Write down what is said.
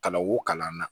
Ka na wo kalan na